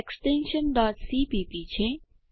extension cpp છે